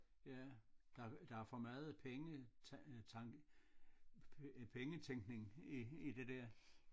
Ja der der er for meget penge tanke øh pengetænkning i i det der